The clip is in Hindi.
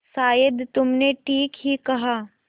शायद तुमने ठीक ही कहा